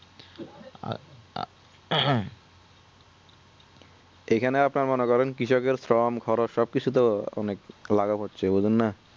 এখানে আপনার মনে করেন কৃষক এর form খরচ সব কিছু তো অনেক ক্লাবা হচ্ছে বুঝেননা